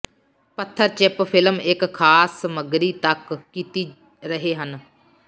ਪੱਥਰ chip film ਇੱਕ ਖਾਸ ਸਮੱਗਰੀ ਤੱਕ ਕੀਤੀ ਰਹੇ ਹਨ